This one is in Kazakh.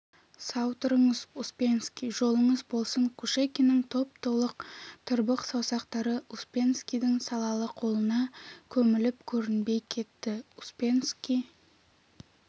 сау тұрыңыз успенский жолыңыз болсын кушекиннің топ-толық тырбық саусақтары успенскийдің салалы қолына көміліп көрінбей кетті успенский